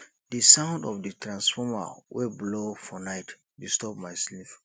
di sound of di transformer wey blow for night disturb my sleep